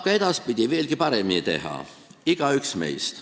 Ka edaspidi saab veelgi paremini teha – igaüks meist.